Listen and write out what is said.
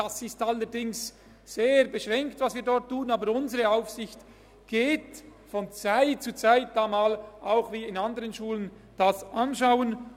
Was wir dort tun, ist allerdings sehr beschränkt, aber von Zeit zu Zeit geht unsere Aufsicht auch dorthin, um es sich anzusehen, wie in anderen Schulen auch.